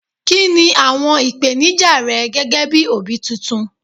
kini awọn ipenija rẹ gẹgẹ bí obi titun